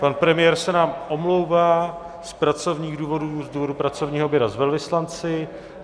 Pan premiér se nám omlouvá z pracovních důvodů, z důvodu pracovního oběda s velvyslanci.